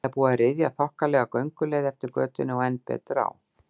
Það er búið að ryðja þokkalega gönguleið eftir götunni og enn betur á